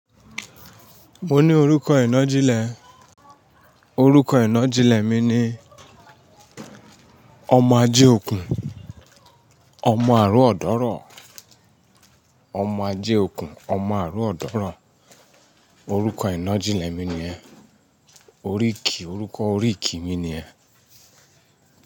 Mo ní orúkọ ìnàjilẹ̀, orúkọ ìnàjilẹ̀ mi ni ọmọ ajé okùn, ọmọ àárọ̀ ọ̀dọ́rọ̀. Ọmọ ajé okùn, ọmọ àárọ̀ ọ̀dọ́rọ̀ orúkọ ìnàjilẹ̀ mi ni yẹ́n. Oríkì, orúkọ oríkì mi ni yẹ́n.